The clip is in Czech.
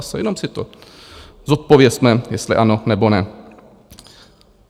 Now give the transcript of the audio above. Zase, jenom si to zodpovězme, jestli ano, nebo ne.